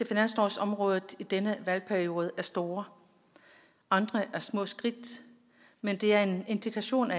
finanslovsområdet i denne valgperiode er store andre er små skridt men det er en indikation